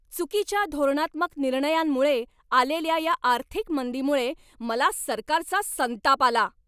चुकीच्या धोरणात्मक निर्णयांमुळे आलेल्या या आर्थिक मंदीमुळे मला सरकारचा संताप आला.